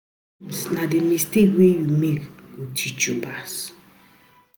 Sometimes na the mistakes wey you make go teach you pass.